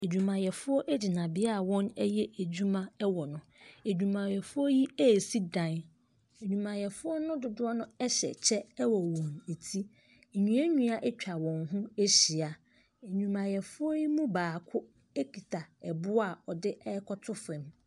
Adwumayɛfoɔ gyina beaeɛ a wɔyɛ adwuma wɔ no. Adwumayɛdoɔ yi resi dan. Adwumayɛfoɔ no dodoɔ no hyɛ kyɛ wɔ wɔn ti. Nnua nnua atwa wɔn ho ahyia. Adwumayɛfoɔ yi mu baako kita ɛboɔ a ɔde rekɔto fam.